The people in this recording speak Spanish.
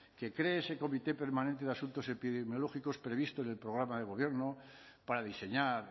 que cree ese comité permanente de asuntos epidemiológicos previsto en el programa de gobierno para diseñar